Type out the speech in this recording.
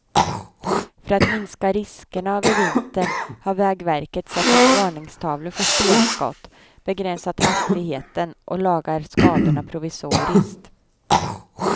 För att minska riskerna över vintern har vägverket satt upp varningstavlor för stenskott, begränsat hastigheten och lagar skadorna provisoriskt.